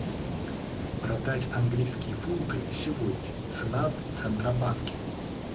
продать английские фунты сегодня цена в центробанке